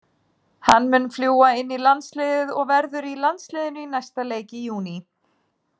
Hann mun fljúga inn í landsliðið og verður í landsliðinu í næsta leik í júní.